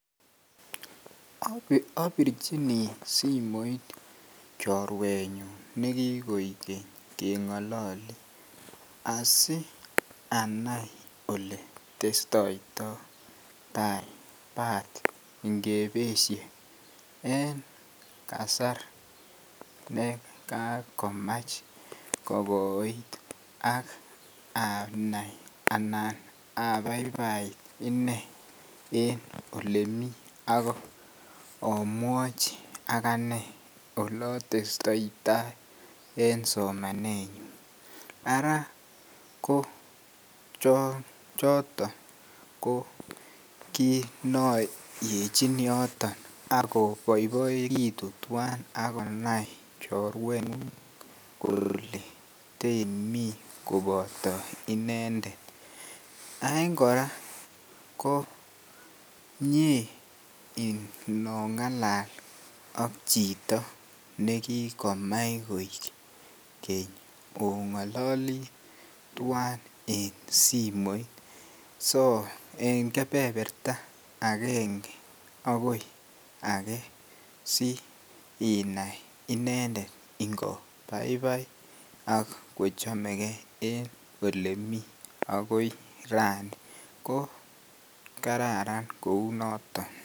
Obirjini simoit chorwenyun ne kigokeny kengolole asi anai ole testoito tai bat ngebesye en kasar ne kakomach kokoit ak anan abaibait inee en olemii ak omwochi aganee ole testoi tai en somanenyun Ara ko choton ko kiit ne yoityi yoton ak oboiboegitu tuan ak konai chorwengung kole teimi koboto inendet en koraa ko mie inongalal ak chito ne kikomach koik Keny ongololi tuan en simoit so en kebeberta angenge akoi agee si inai inendet nko baibai ak kochomegee en olemii agoi Rani ko kararan kouu noton